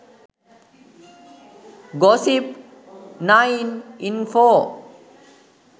gossip9 info